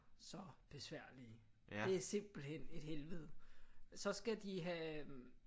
Så besværlige det er simpelthen et helvede så skal de have øh